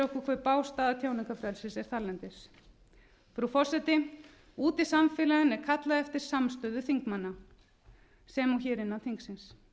hve bág staða tjáningarfrelsis er þarlendis frú forseti úti í samfélaginu er kallað eftir samstöðu þingmanna sem og hér innan þingsins